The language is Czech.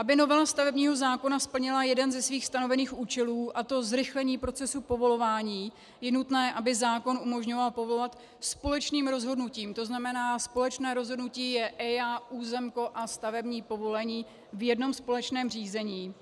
Aby novela stavebního zákona splnila jeden ze svých stanovených účelů, a to zrychlení procesu povolování, je nutné, aby zákon umožňoval povolovat společným rozhodnutím, to znamená společné rozhodnutí je EIA, územko a stavební povolení, v jednom společném řízení